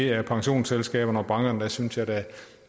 er pensionsselskaberne og bankerne og der synes jeg da at